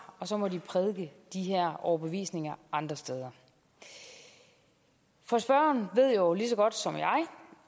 og så må de prædike de her overbevisninger andre steder spørgeren ved jo lige så godt som jeg